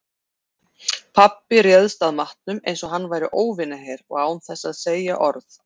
Pabbi réðst að matnum einsog hann væri óvinaher og án þess að segja orð.